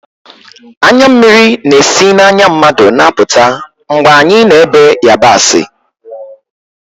Anya mmiri na-esi n'anya mmadụ na-apụta mgbe anyị na-èbe yabasị